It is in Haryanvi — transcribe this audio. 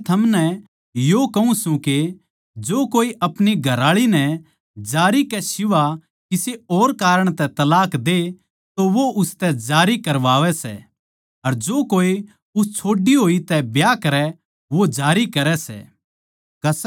पर मै थमनै यो कहूँ सूं के जो कोए अपणी घरआळी नै जारी कै सिवा किसे और कारण तै तलाक दे तो वो उसतै जारी करवावै सै अर जो कोए उस छोड्डी होई तै ब्याह करै वो जारी करै सै